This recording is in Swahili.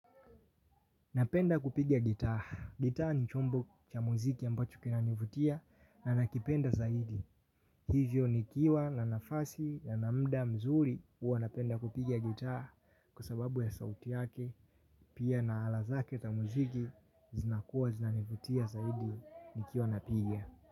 Napenda kupigia gitaa. Gitaa ni chombo cha muziki ambacho kinanivutia na nakipenda zaidi. Hivyo nikiwa na nafasi ya na muda mzuri huwa napenda kupigia gitaa kwa sababu ya sauti yake. Pia na ala zake ta muziki zinakuwa zinanivutia zaidi nikiwa napigia.